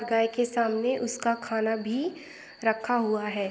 गाय के सामने उसका खाना भी रखा हुआ है।